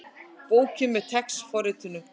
Bókin með TeX forritinu.